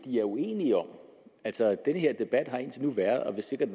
vi er uenige om altså den her debat har indtil nu været og vil sikkert